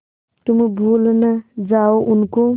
तुम भूल न जाओ उनको